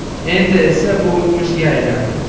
Endi esa bu o‘tmishga aylandi.